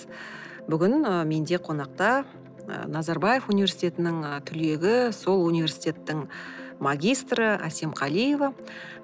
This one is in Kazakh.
бүгін ы менде қонақта ы назарбаев университетінің ы түлегі сол университеттің магистрі әсем қалиева